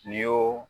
N'i y'o